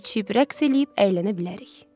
Yeyib-içib, rəqs eləyib əylənə bilərik.